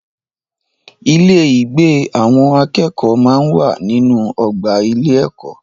Ilé-ìgbé àwọn akẹ́kọ̀ọ́ máa ń wà nínú ọgbà ilé-ẹ̀kọ́.